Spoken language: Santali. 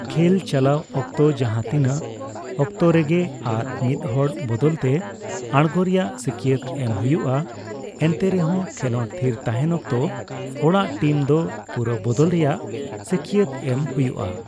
ᱠᱷᱮᱞ ᱪᱟᱞᱟᱣ ᱚᱠᱛᱚ ᱡᱟᱦᱟᱸ ᱛᱤᱱᱟᱹᱜ ᱚᱠᱛᱚ ᱨᱮᱜᱮ ᱟᱨ ᱢᱤᱫ ᱦᱚᱲ ᱵᱚᱫᱚᱞ ᱛᱮ ᱟᱲᱜᱳ ᱨᱮᱭᱟᱜ ᱥᱟᱹᱠᱭᱟᱹᱛ ᱮᱢ ᱦᱩᱭᱩᱜᱼᱟ, ᱮᱱᱛᱮᱨᱮᱦᱚᱸ ᱠᱷᱮᱞᱚᱸᱰ ᱛᱷᱤᱨ ᱛᱟᱦᱮᱱ ᱚᱠᱛᱚ ᱚᱲᱟᱜ ᱴᱤᱢ ᱫᱚ ᱯᱩᱨᱟᱹ ᱵᱚᱫᱚᱞ ᱨᱮᱭᱟᱜ ᱥᱟᱹᱠᱭᱟᱹᱛ ᱮᱢ ᱦᱩᱭᱩᱜᱼᱟ ᱾